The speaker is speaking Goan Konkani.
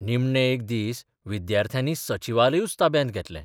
निमणे एक दीस विद्याथ्र्यांनी सचिवालयूच ताब्यांत घेतलें.